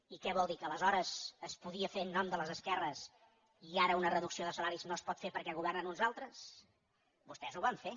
i què vol dir que aleshores es podia fer en nom de les esquerres i ara una reducció de salaris no es pot fer perquè governen uns altres vostès ho van fer